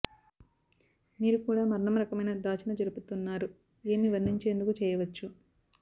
మీరు కూడా మరణం రకమైన దాచిన జరుపుతున్నారు ఏమి వర్ణించేందుకు చేయవచ్చు